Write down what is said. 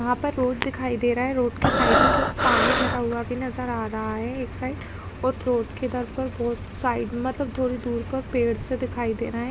यहाँ पर रोड दिखाई दे रहा है। रोड के साइड में थो पानी भरा हुआ भी नज़र आ रहा है एक साइड और रोड के इधर पर बहुत साइड मतलब थोड़ी दूर पर पेड़ से दिखाई दे रहे हैं।